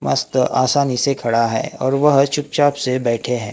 मस्त आसानी से खड़ा है और वह चुपचाप से बैठें हैं।